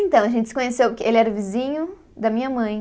Então, a gente se conheceu, que ele era vizinho da minha mãe.